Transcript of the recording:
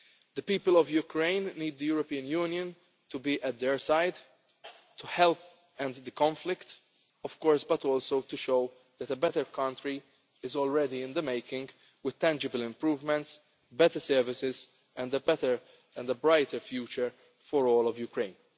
our efforts. The people of Ukraine need the European Union to be at their side to help end the conflict, of course, but also to show that a better country is already in the making with tangible improvements, better services and a better and brighter future for all of Ukraine.